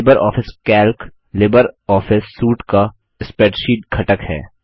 Libre Office Calc Libre Office suite का spreadsheet घटक है